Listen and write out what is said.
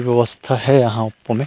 व्यवस्था हे यहाँ प में--